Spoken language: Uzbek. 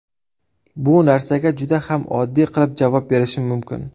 Bu narsaga juda ham oddiy qilib javob berishim mumkin.